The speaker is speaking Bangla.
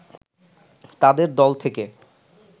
তাদের দল থেকে